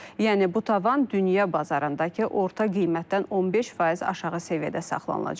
Yəni bu tavan dünya bazarındakı orta qiymətdən 15% aşağı səviyyədə saxlanılacaq.